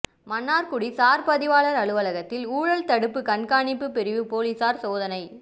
மன்னாா்குடி சாா் பதிவாளா் அலுவலகத்தில் ஊழல் தடுப்பு கண்காணிப்புப் பிரிவு போலீஸாா் சோதனை